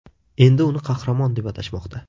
Endi uni qahramon deb atashmoqda.